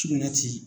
Sugunɛ ti